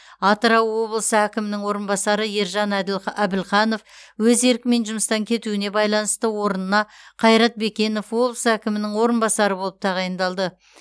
атырау облысы әкімінің орынбасары ержан әділ әбілханов өз еркімен жұмыстан кетуіне байланысты орынына қайрат бекенов облыс әкімінің орынбасары болып тағайындалды